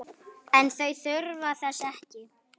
En þau þurfa þess ekki.